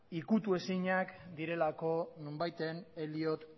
ukitu ezinak direlako nonbaiten eliot